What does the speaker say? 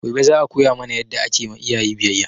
Gobe za a koya mana yadda ake ma iyaye biyayya